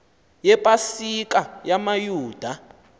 yepa sika yamayuda